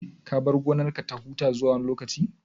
Ka bar gonarka ta huta zuwa wani lokaci?